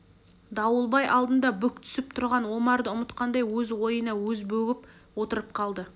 дауылбай алдында бүк түсіп тұрған омарды ұмытқандай өз ойына өзі бөгіп отырып қалды